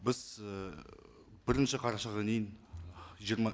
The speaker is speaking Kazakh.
біз ы бірінші қарашаға дейін жиырма